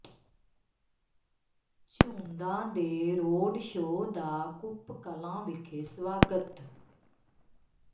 ਝੂੰਦਾਂ ਦੇ road show ਦਾ ਕੱੁਪ ਕਲਾਂ ਵਿਖੇ ਸਵਾਗਤ